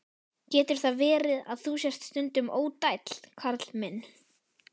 Getur það verið, að þú sért stundum ódæll, Karl minn?